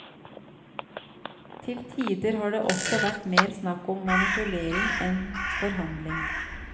Til tider har det også vært mer snakk om manipulering enn forhandling.